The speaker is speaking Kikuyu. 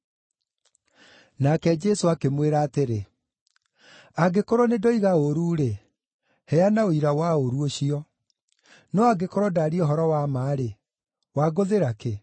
Nake Jesũ akĩmwĩra atĩrĩ, “Angĩkorwo nĩndoiga ũũru-rĩ, heana ũira wa ũũru ũcio. No angĩkorwo ndaaria ũhoro wa ma-rĩ, wangũthĩra kĩ?”